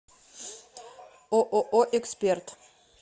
ооо эксперт